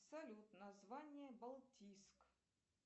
салют название балтийск